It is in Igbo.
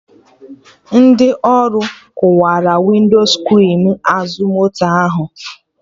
Ndị ori kụwara Winscrin azụ moto ahụ